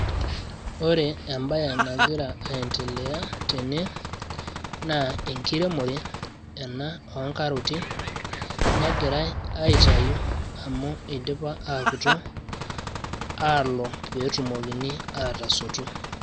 ore ebae nagira aentelea tene naa engiremore ena oongaroti negirai aitau amu idipa aakuto, aalo pee etumokini aatasotu.